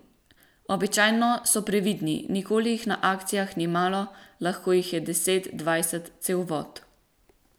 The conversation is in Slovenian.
Običajno so previdni, nikoli jih na akcijah ni malo, lahko jih je deset, dvajset, cel vod.